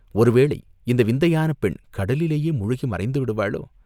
ஒருவேளை இந்த விந்தையான பெண் கடலிலேயே முழுகி மறைந்து விடுவாளோ!